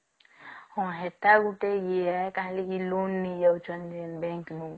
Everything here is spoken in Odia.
ହଁ ସେଟା ଗୁଟେ ଇଏ କାହିଁକି loan ନେଇଯାଉଛନ୍ତି bank ରୁ